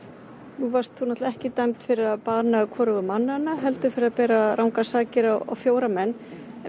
nú varst þú ekki dæmd fyrir að bana hvorugum mannanna heldur fyrir að bera rangar sakir á fjóra menn